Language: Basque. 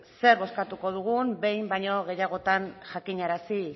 zer bozkatuko dugu behin baino gehiagotan jakinarazi